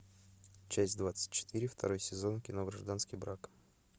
часть двадцать четыре второй сезон кино гражданский брак